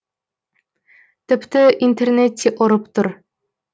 тіпті интернет те ұрып тұр